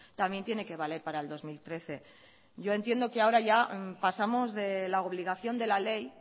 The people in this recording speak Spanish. también tiene que valer para el dos mil trece yo entiendo que ahora ya pasamos de la obligación de la ley